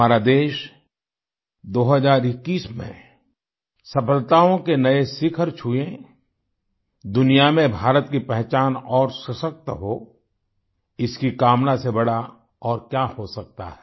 हमारा देश 2021 में सफलताओं के नए शिखर छुएँ दुनिया में भारत की पहचान और सशक्त हो इसकी कामना से बड़ा और क्या हो सकता है